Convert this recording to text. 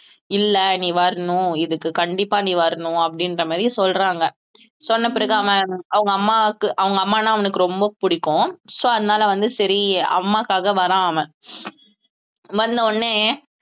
இல்லை நீ வரணும் இதுக்கு கண்டிப்பா நீ வரணும் அப்படின்ற மாதிரி சொல்றாங்க சொன்ன பிறகு அவன் அவங்க அம்மாக்கு அவங்க அம்மான்னா அவனுக்கு ரொம்ப பிடிக்கும் so அதனால வந்து சரி அம்மாக்காக வர்றான் அவன் வந்த உடனே